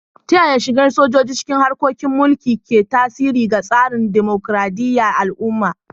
Ta yaya shigar sojoji cikin harkokin mulki ke tasiri ga tsarin dimokuradiyyar al'umma?